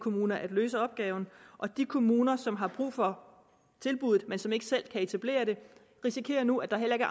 kommuner at løse opgaven og de kommuner som har brug for tilbuddet men som ikke selv kan etablere det risikerer nu at der heller ikke